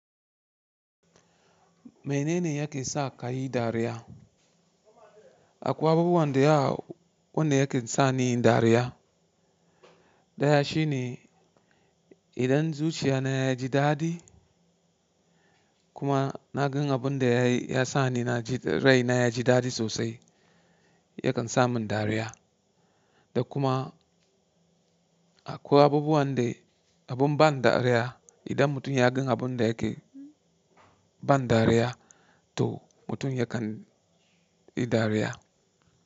Menene yake sa ka yi dariya? Akwai abubuwan da ya wanda yake sa nayi dariya. Daya shine idan zuciya na yaji daɗi kuma na ga abun da ya sa ni rai na ya ji daɗi sosai, yakan sa mun dariya. Da kuma akwai abubuwan da abun ban dariya idan mutum ya ga abun da yake ban dariya to mutum yakan yi dariya.